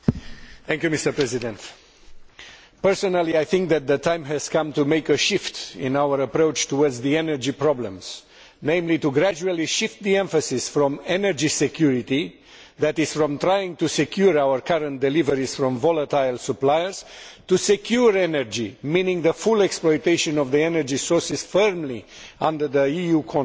Mr President, personally I think that the time has come to make a shift in our approach to energy problems, namely by gradually shifting the emphasis from energy security' that is, trying to secure our current deliveries from volatile suppliers to secure energy', meaning the full exploitation of the energy sources firmly under EU control.